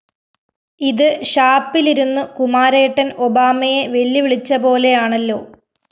ഇത് ഷാപ്പിലിരുന്ന് കുമാരേട്ടന്‍ ഒബാമയെ വെല്ലുവിളിച്ചപോലെയാണല്ലോ?